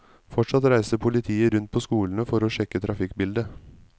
Fortsatt reiser politiet rundt på skolene for å sjekke trafikkbildet.